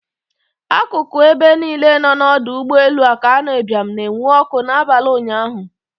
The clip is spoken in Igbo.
Akụkụ ebe niile nọ n'ọdọ ụgbọelu Akanu Ibiam na-enwu ọkụ n'abalị ụnyaahụ.